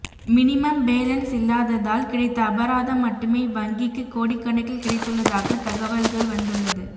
minimum balance இல்லாததால் கிடைத்த அபராதம் மட்டுமே இவ்வங்கிக்கு கோடிக்கணக்கில் கிடைத்துள்ளதாக தகவல்கள் வந்துள்ளது